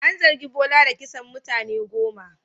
An zargi Bola da kisan mutane goma.